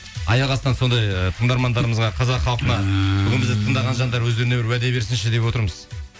аяқ астынан сондай ы тыңдармандарымызға қазақ халқына өздеріне бір уәде берсінші деп отырмыз